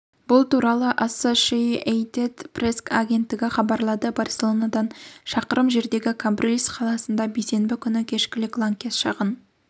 бұл туралы ассошиэйтед пресс агенттігі хабарлады барселонадан шақырым жердегі камбрильс қаласында бейсенбі күні кешкілік лаңкес шағын